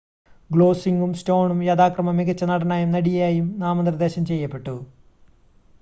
ഗോസ്ലിംഗും സ്റ്റോണും യഥാക്രമം മികച്ച നടനായും നടിയായും നാമനിർദ്ദേശം ചെയ്യപ്പെട്ടു